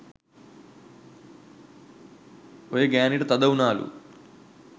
ඔය ගෑනිට තද උනාලු